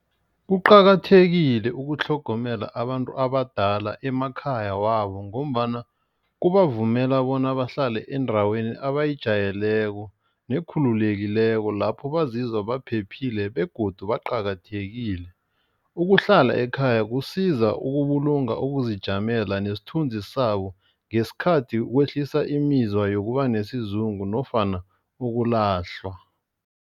Kuqakathekile ukutlhogomela abantu abadala emakhaya wabo. Ngombana kubavumela bona bahlale endaweni abayijayeleko nekhululekileko. Lapho bazizwe baphephile begodu baqakathekile. Ukuhlala ekhaya kusiza ukubulunga ukuzijamela nesithunzi sabo ngesikhathi kwehlisa imizwa yokuba nesizungu nofana ukulahlwa.